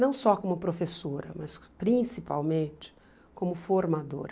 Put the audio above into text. Não só como professora, mas principalmente como formadora.